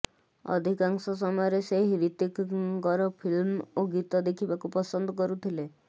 ଅଧିକାଂଶ ସମୟରେ ସେ ହ୍ରିତିକ୍ଙ୍କର ଫିଲ୍ମ ଓ ଗୀତ ଦେଖିବାକୁ ପସନ୍ଦ କରୁଥିଲେ